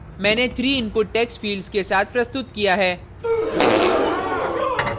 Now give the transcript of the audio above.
मैंने 3 input text fields के साथ प्रस्तुत किया है